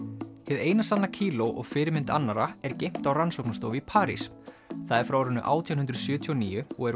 hið eina sanna kíló og fyrirmynd annarra er geymt á rannsóknarstofu í París það er frá árinu átján hundruð sjötíu og níu og er